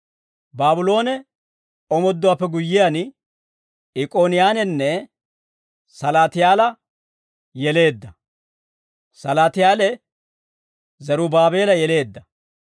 Baabloone omooduwaappe guyyiyaan, Ikkoniyaananne Salaatiyaala yeleedda; Salaatiyaale, Zerubaabeela yeleedda.